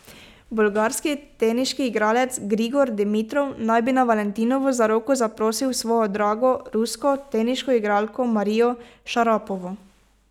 Bolgarski teniški igralec Grigor Dimitrov naj bi na valentinovo za roko zaprosil svojo drago, rusko teniško igralko Marijo Šarapovo.